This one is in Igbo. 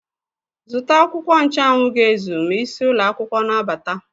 Zụta akwụkwọ ncha anwụ ga-ezu ma isi ụlọ akwụkwọ na-abata!